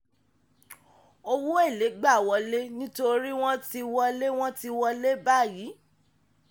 owó èlé gba wọlé nítorí wọ́n ti wọlé wọ́n ti wọlé báyìí.